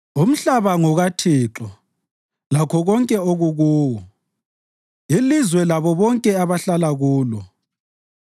Umhlaba ngokaThixo, lakho konke okukuwo, ilizwe labo bonke abahlala kulo;